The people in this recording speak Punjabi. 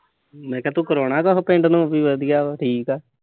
ਮੈਂ ਕਿਆ ਤੂੰ ਕਰਾਉਣਾ ਕੁਸ਼ ਪਿੰਡ ਨੂੰ। ਵਧੀਆ ਅਹ ਠੀਕ ਆ।